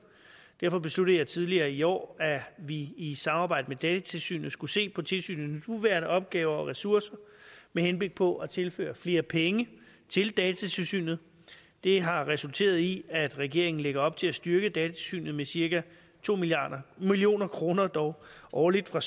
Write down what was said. derfor besluttede jeg tidligere i år at vi i samarbejde med datatilsynet skulle se på tilsynets nuværende opgaver og ressourcer med henblik på at tilføre flere penge til datatilsynet det har resulteret i at regeringen lægger op til at styrke datatilsynet med cirka to million kroner årligt fra